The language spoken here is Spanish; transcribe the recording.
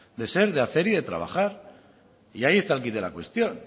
de ser de hacer y de trabajar y ahí está el quid de la cuestión